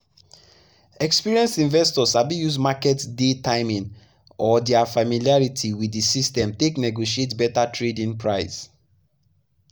experienced investors sabi use market day timing or their familiarity with the system take negotiate better trade-in price.